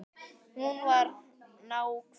Hún var náhvít.